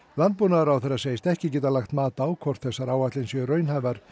landbúnaðarráðherra segist ekki geta lagt mat á hvort þessar áætlanir séu raunhæfar